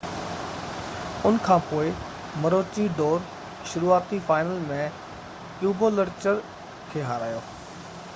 ان کانپوءِ مروچي ڊور شروعاتي فائنل ۾ ڪيبولچر کي هارايو